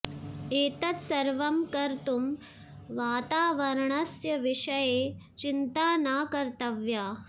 एतत् सर्वं कर्तुं वातावरणस्य विषये चिन्ता न कर्तव्या